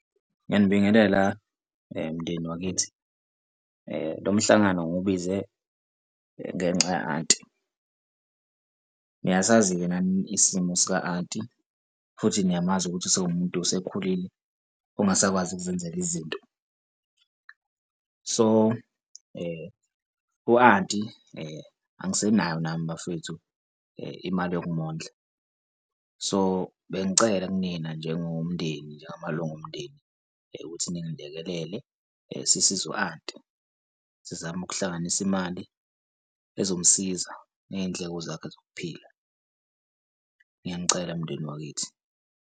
Ngiyanibingelela mndeni wakithi lo mhlangano ngiwubize ngenxa ya-anti. Niyasazi-ke nani isimo sika anti futhi niyamazi ukuthi sewumuntu osekhulile ongasakwazi ukuzenzela izinto. So, u-anti angisenaye nami bafwethu imali yokumondla, so, bengicela kunina njengomndeni, njengamalunga omndeni ukuthi ningilekelele, sisize u-anti sizame ukuhlanganisa imali ezomsiza ney'ndleko zakhe zokuphila. Ngiyanicela mndeni wakithi.